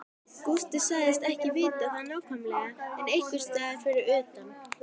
Gústi sagðist ekki vita það nákvæmlega en einhversstaðar fyrir utan